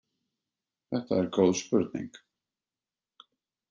Þetta er góð spurning!